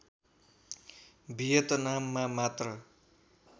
भियतनाममा मात्र